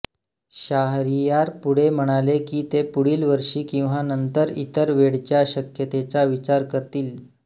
शाहरियार पुढे म्हणाले की ते पुढील वर्षी किंवा नंतर इतर वेळच्या शक्यतेचा विचार करतील